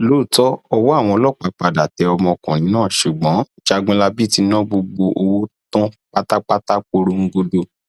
lóòótọ ọwọ àwọn ọlọpàá padà tẹ ọmọkùnrin náà ṣùgbọn jágunlábí ti ná gbogbo owó tán pátápátá porongodo